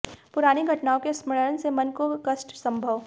पुरानी घटनाओं के स्मरण से मन को कष्ट संभव